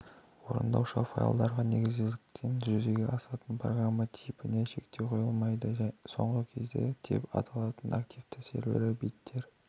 орындаушы файлдарға негізделгендіктен жүзеге асатын программа типіне шектеу қойылмайды соңғы кезде деп аталатын активті серверлік беттер